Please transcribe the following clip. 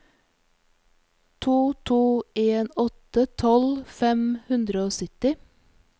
to to en åtte tolv fem hundre og sytti